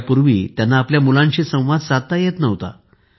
यापूर्वी त्यांना आपल्या मुलाशी संवाद साधता येत नव्हता